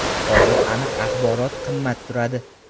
Hozir aniq axborot qimmat turadi.